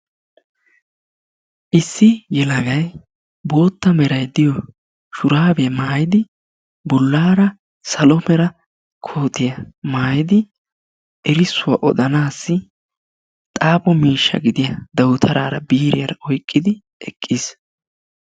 Issi yelagay bootta meray diyo shuraabiya mayidi bollaara salo mera kootiya mayidi erissuwa odanaassi xaafo miishsha gidiya dawutaraara biiriyara oyqqidi eqqis.